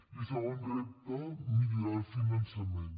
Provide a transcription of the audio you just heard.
i segon repte millorar el finançament